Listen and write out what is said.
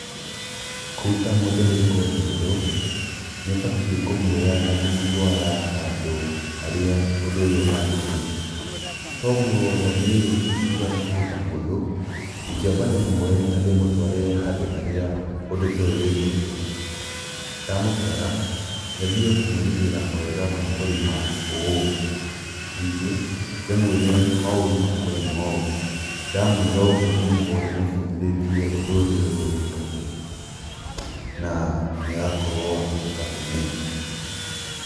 Kũruta mũndũ gũĩka ũndũ ũyũ, nĩ ũbatiĩ kũmuoya na kũmũtwara handũ harĩa ũndũ ũyũ ũhanĩkĩire. Toguo niĩ ingiuga nĩ kũruta mũndũ, ingĩamba ndĩmuoye na ndĩmũtware handũ harĩa ũndũ toyũ wĩkĩtwo. Ndamũtwara, nyambie kũmwerethera mawega ma kũrĩma ũũ, ningĩ ndĩmwĩre maũru ma kũrĩma ũũ, ndamũĩra ũguo nĩngũkorwo ndĩmũbundithĩtie ũndũ ũrĩa ũyũ wĩkagwo na nĩagakorwo wa kũhota kũnyita